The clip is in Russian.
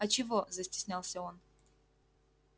а чего застеснялся он